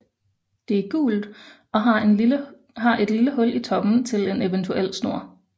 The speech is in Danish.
Det er gult og har et lille hul i toppen til en eventuel snor